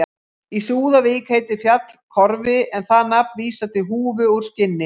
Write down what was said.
Í Súðavík heitir fjall Kofri en það nafn vísar til húfu úr skinni.